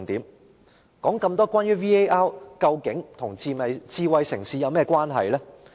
我說了這麼多關於 VAR 的事，究竟它與智慧城市有甚麼關係呢？